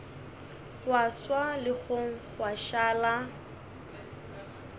gwa swa legong gwa šala